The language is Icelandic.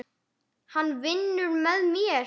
Hann vinnur með mér.